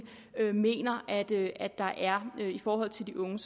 mener det er i forhold til de unge